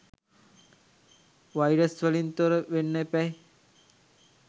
Virus වලින් තොර වෙන්න එපැයි?